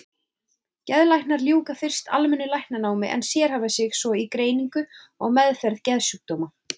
Geðlæknar ljúka fyrst almennu læknanámi en sérhæfa sig svo í greiningu og meðferð geðsjúkdóma.